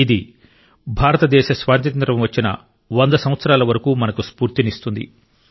ఇది భారతదేశ స్వాతంత్య్రం వచ్చిన వంద సంవత్సరాల వరకు మనకు స్ఫూర్తినిస్తుంది